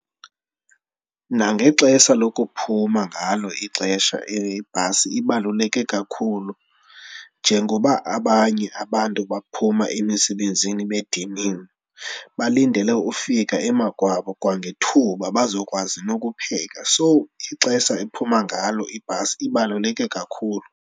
Nangexesha lokuphuma ngalo ixesha ibhasi ibaluleke kakhulu. Njengoba abanye abantu baphuma emisebenzini bediniwe, balindele ufika emakwabo kwangethuba bazokwazi nokupheka. So ixesha ephuma ngalo ibhasi ibaluleke kakhulu.